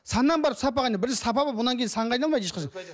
саннан барып сапаға айналады бірінші сапа болып одан кейін санға айналмайды ешқашан